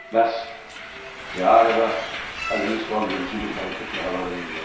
Bəs Di Areva əlini solvərici bir hərəkətlə havada yellədi.